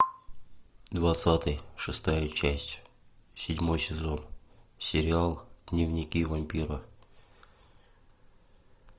двадцатый шестая часть седьмой сезон сериал дневники вампира